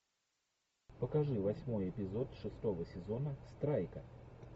покажи восьмой эпизод шестого сезона страйка